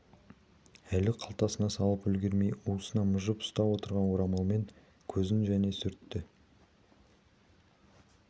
әлі қалтасына салып үлгермей уысына мыжып ұстап отырған орамалмен көзін және сүртті